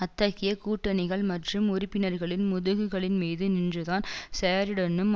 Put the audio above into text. அத்தகைய கூட்டணிகள் மற்றும் உறுப்பினர்களின் முதுகுகளின்மீது நின்றுதான் சேரிடனும்